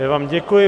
Já vám děkuji.